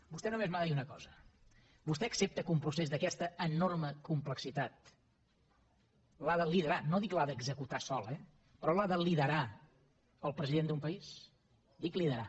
vostè només m’ha de dir una cosa vostè accepta que un procés d’aquesta enorme complexitat l’ha de liderar no dic l’ha d’executar sol eh però l’ha de liderar el president d’un país dic liderar